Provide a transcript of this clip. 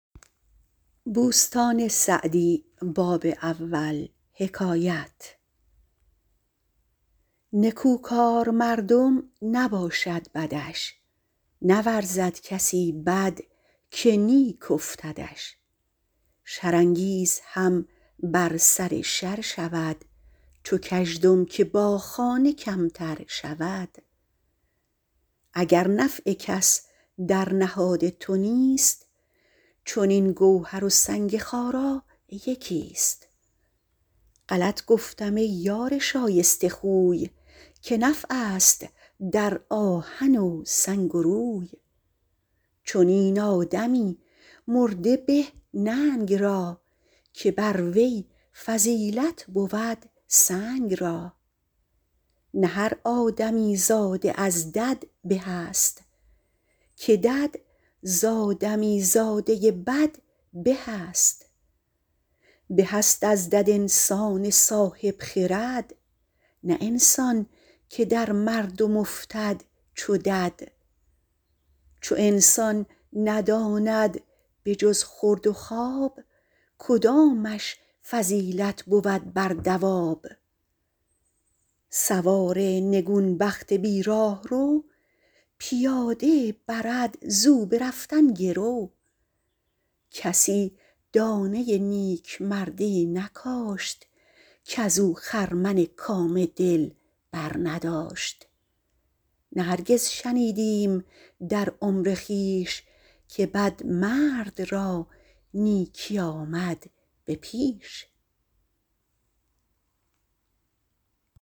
نکوکار مردم نباشد بدش نورزد کسی بد که نیک افتدش شر انگیز هم بر سر شر شود چو کژدم که با خانه کمتر شود اگر نفع کس در نهاد تو نیست چنین گوهر و سنگ خارا یکی است غلط گفتم ای یار شایسته خوی که نفع است در آهن و سنگ و روی چنین آدمی مرده به ننگ را که بر وی فضیلت بود سنگ را نه هر آدمی زاده از دد به است که دد ز آدمی زاده بد به است به است از دد انسان صاحب خرد نه انسان که در مردم افتد چو دد چو انسان نداند به جز خورد و خواب کدامش فضیلت بود بر دواب سوار نگون بخت بی راهرو پیاده برد ز او به رفتن گرو کسی دانه نیکمردی نکاشت کز او خرمن کام دل برنداشت نه هرگز شنیدیم در عمر خویش که بدمرد را نیکی آمد به پیش